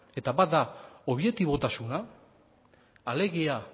bata da objetibotasuna alegia